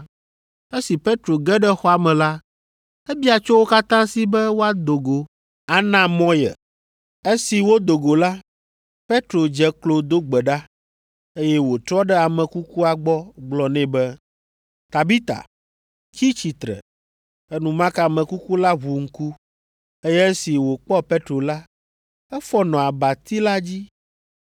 Esi Petro ge ɖe xɔa me la, ebia tso wo katã si be woado go ana mɔ ye. Esi wodo go la, Petro dze klo do gbe ɖa, eye wòtrɔ ɖe ame kukua gbɔ gblɔ nɛ be, “Tabita, tsi tsitre!” Enumake ame kuku la ʋu ŋku, eye esi wòkpɔ Petro la, efɔ nɔ abati la dzi.